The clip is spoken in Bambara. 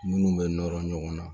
Minnu bɛ nɔrɔ ɲɔgɔn na